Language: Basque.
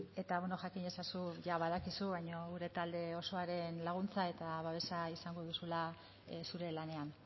eta bueno jakin ezazu jada badakizu baina gure talde osoaren laguntza eta babesa izango duzula zure lanean